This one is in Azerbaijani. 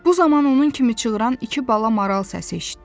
Bu zaman onun kimi çığıran iki bala maral səsi eşitdi.